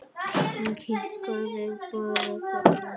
Hann kinkaði bara kolli.